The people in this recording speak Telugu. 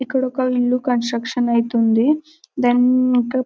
ఇక్కడ ఒక ఇల్లు కన్స్ట్రక్షన్ అయితుంది దాని--